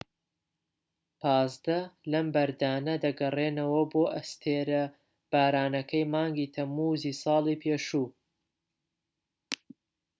پازدە لەم بەردانە دەگەڕێنەوە بۆ ئەستێرە بارانەکەی مانگی تەمموزی ساڵی پێشوو